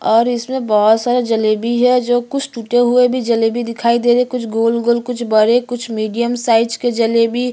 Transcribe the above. और इसमें बहोत सारे जलेबी है जो कुछ टूटे हुए भी जलेबी दिखाई दे रहै है कुछ गोल - गोल कुछ बड़े कुछ मीडियम साइज़ के जलेबी --